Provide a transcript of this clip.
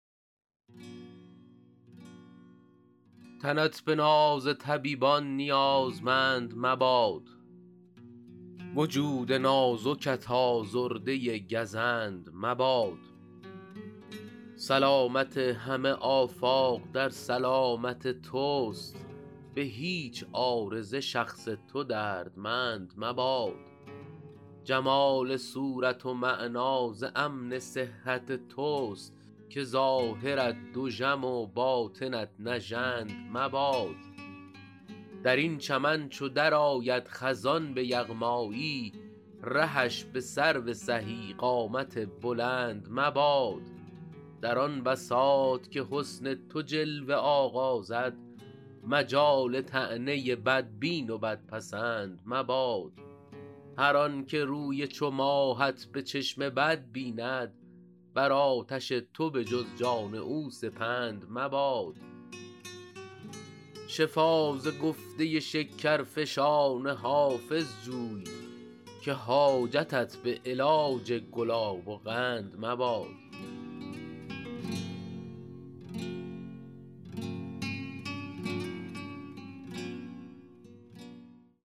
تنت به ناز طبیبان نیازمند مباد وجود نازکت آزرده گزند مباد سلامت همه آفاق در سلامت توست به هیچ عارضه شخص تو دردمند مباد جمال صورت و معنی ز امن صحت توست که ظاهرت دژم و باطنت نژند مباد در این چمن چو درآید خزان به یغمایی رهش به سرو سهی قامت بلند مباد در آن بساط که حسن تو جلوه آغازد مجال طعنه بدبین و بدپسند مباد هر آن که روی چو ماهت به چشم بد بیند بر آتش تو به جز جان او سپند مباد شفا ز گفته شکرفشان حافظ جوی که حاجتت به علاج گلاب و قند مباد